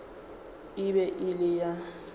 e be e le a